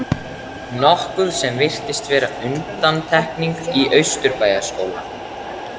nokkuð sem virtist vera undantekning í Austurbæjarskóla.